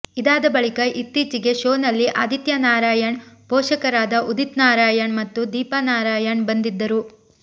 ಇದಾದ ಬಳಿಕ ಇತ್ತೀಚಿಗೆ ಶೋನಲ್ಲಿ ಆದಿತ್ಯ ನಾರಾಯಣ್ ಪೋಷಕರಾದ ಉದಿತ್ ನಾರಾಯಣ್ ಮತ್ತು ದೀಪಾ ನಾರಾಯಣ್ ಬಂದಿದ್ದರು